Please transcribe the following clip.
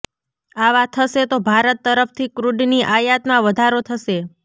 આવા થશે તો ભારત તરફથી ક્રૂડની આયાતમાં વધારો થશે